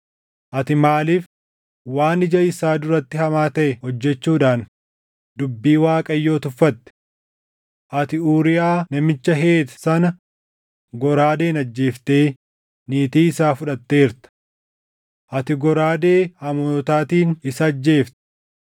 Ati maaliif waan ija isaa duratti hamaa taʼe hojjechuudhaan dubbii Waaqayyoo tuffatte? Ati Uuriyaa namicha Heet sana goraadeen ajjeeftee niitii isaa fudhatteerta. Ati goraadee Amoonotaatiin isa ajjeefte.